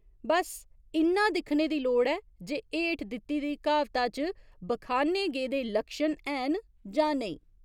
बस्स इन्ना दिक्खने दी लोड़ ऐ जे हेठ दित्ती दी क्हावता च बखाने गेदे लक्षण हैन जां नेईं।